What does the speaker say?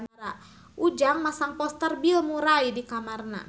Ujang masang poster Bill Murray di kamarna